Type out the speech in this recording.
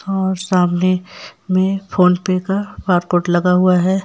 और सामने में फोन पे का बारकोड लगा हुआ है।